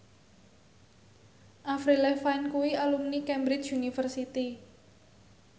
Avril Lavigne kuwi alumni Cambridge University